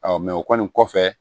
o kɔni kɔfɛ